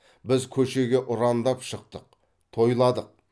біз көшеге ұрандап шықтық тойладық